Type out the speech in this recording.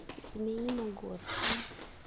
змеиногорском